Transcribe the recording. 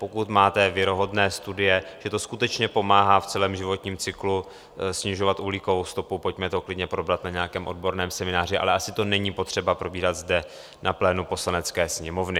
Pokud máte věrohodné studie, že to skutečně pomáhá v celém životním cyklu snižovat uhlíkovou stopu, pojďme to klidně probrat na nějakém odborném semináři, ale asi to není potřeba probírat zde na plénu Poslanecké sněmovny.